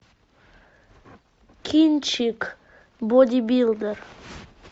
кинчик бодибилдер